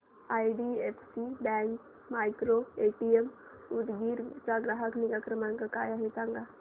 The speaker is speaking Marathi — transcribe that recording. आयडीएफसी बँक मायक्रोएटीएम उदगीर चा ग्राहक निगा क्रमांक काय आहे सांगा